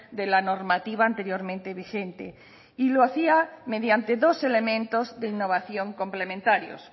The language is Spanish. de la normativa anteriormente vigente y lo hacía mediante dos elementos de innovación complementarios